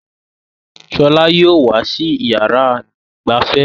Shola yìí ó wà sì yára ìgbafẹ́.